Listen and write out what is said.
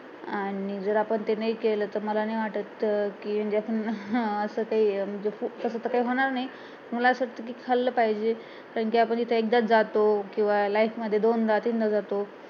आणि आपण ते नाही केलं तर मला नाही वाटत असं काही काही होणार नाही मला असं वाटत कि खाल्लं पाहिजे कारण कि आपण तिथे एकदाच जातो किंवा life मध्ये दोनदा तीनदा जातो